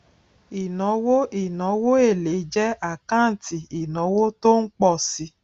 ìnáwó ìnáwó èlé jẹ àkáǹtì ìnáwó tó ń pọ si